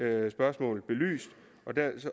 alle spørgsmål belyst